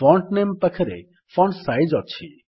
font ନାମେ ପାଖରେ font size ଅଛି